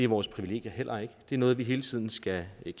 vores privilegier heller ikke det er noget vi hele tiden skal